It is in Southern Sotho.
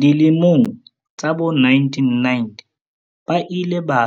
Dilemong tsa bo1990 ba ile ba